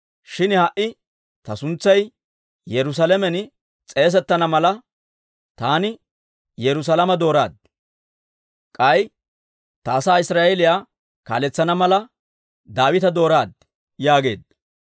Shin ha"i ta suntsay Yerusaalamen s'eesettana mala, taani Yerusaalame dooraaddi; k'ay ta asaa Israa'eeliyaa kaaletsana mala, Daawita dooraaddi› yaageedda.